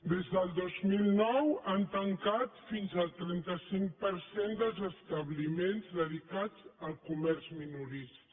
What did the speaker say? des del dos mil nou han tancat fins al trenta cinc per cent dels establiments dedicats al comerç minorista